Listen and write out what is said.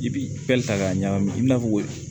I bi ta k'a ɲagami i n'a fɔ